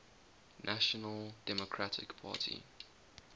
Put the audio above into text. national democratic party